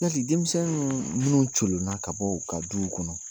Yali denmisɛn nuu n'u colonna ka bɔ u ka duw kɔnɔ